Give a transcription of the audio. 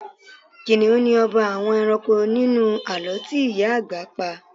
kìnnìún ni ọba àwọn ẹranko nínú àlọ́ tí ìyá àgbà pa